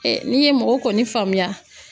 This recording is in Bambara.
n'i ye mɔgɔ kɔni faamuya.